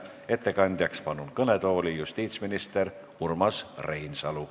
Ettekandeks palun kõnetooli justiitsminister Urmas Reinsalu.